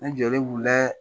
An jɔlen b'u la